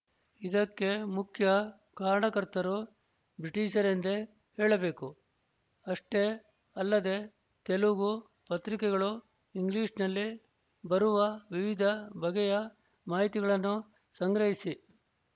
ಇದಕ್ಕೆ ಮುಖ್ಯ ಕಾರಣಕರ್ತರು ಬ್ರಿಟಿಶರೆಂದೇ ಹೇಳಬೇಕು ಅಷ್ಟೇ ಅಲ್ಲದೆ ತೆಲುಗು ಪತ್ರಿಕೆಗಳು ಇಂಗ್ಲೀಷ್ನಲ್ಲಿ ಬರುವ ವಿವಿಧ ಬಗೆಯ ಮಾಹಿತಿಗಳನ್ನು ಸಂಗ್ರಹಿಸಿ